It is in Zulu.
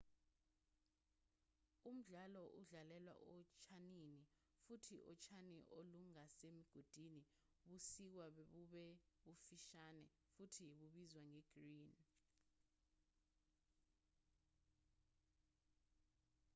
umdlalo udlalelwa otshanini futhi utshani olungasemigodini busikwa bube bufishane futhi bubizwa nge-green